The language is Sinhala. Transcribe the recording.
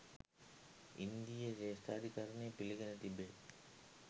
ඉන්දීය ශ්‍රේෂ්ඨාධිකරණය පිළිගෙන තිබේ